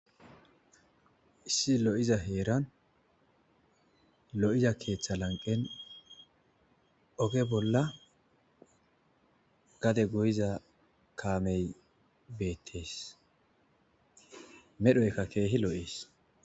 Issi lo'iza heeran lo'iza keeththa lanqen oge bolla gade go'iza kaamey beetteesmedhoyka keehi loo'ees